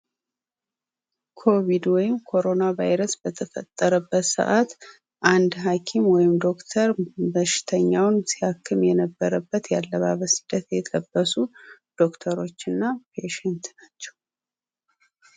ኮቪድ በተፈጠረበት ጊዜ አንድ ሀኪም ሰዎችን ሲያክም የሚለብሰው አለባብስ ነው ።እነሱም ዶክተር እና ፔሸንት ናቸው።